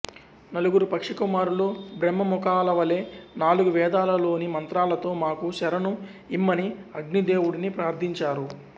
నలుగురు పక్షి కుమారులు బ్రహ్మముఖాలవలె నాలుగు వేదాలలోని మంత్రాలతో మాకు శరణు ఇమ్మని అగ్నిదేవుడిని ప్రార్థించారు